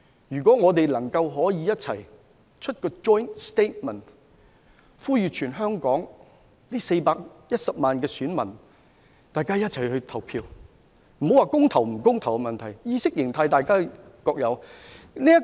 如果我們能夠一起發出一個 joint statement， 呼籲全香港413萬名選民一起投票，也不用說甚麼公投或不公投的問題，因為大家各有不同意識狀態......